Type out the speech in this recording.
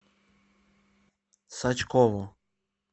сачкову